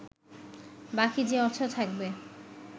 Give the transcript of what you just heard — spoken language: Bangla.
বাকি যে অর্থ থাকবে